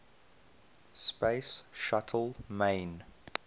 space shuttle main